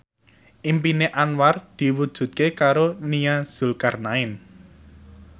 impine Anwar diwujudke karo Nia Zulkarnaen